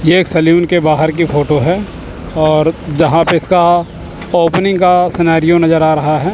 ये एक सैलून के बाहर की फोटो है और जहां पे इसका ओपनिंग का सनैरिओ नजर आ रहा है।